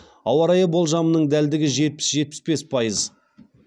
ауа райы болжамының дәлдігі жетпіс жетпіс бес пайыз